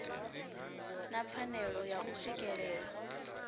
na pfanelo ya u swikelela